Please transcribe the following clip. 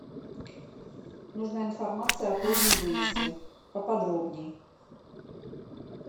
нужна информация о позднем выезде поподробнее